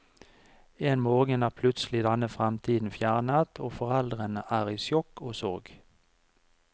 En morgen er plutselig denne fremtiden fjernet, og foreldrene er i sjokk og sorg.